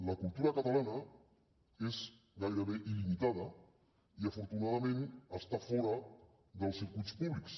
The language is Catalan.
la cultura catalana és gairebé il·limitada i afortunadament està fora dels circuits públics